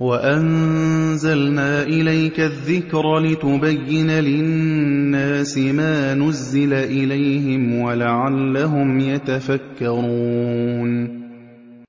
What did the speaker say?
وَأَنزَلْنَا إِلَيْكَ الذِّكْرَ لِتُبَيِّنَ لِلنَّاسِ مَا نُزِّلَ إِلَيْهِمْ وَلَعَلَّهُمْ يَتَفَكَّرُونَ